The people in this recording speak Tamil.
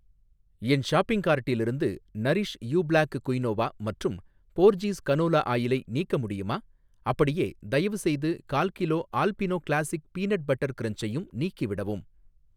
என் ஷாப்பிங் கார்ட்டிலிருந்து நரிஷ் யூ ப்ளாக் குயினோவா மற்றும் போர்ஜீஸ் கனோலா ஆயிலை நீக்க முடியுமா? அப்படியே, தயவுசெய்து கால்கிலோ ஆல்பினோ கிளாசிக் பீனட் பட்டர் கிரன்ச்சையும் நீக்கிவிடவும்.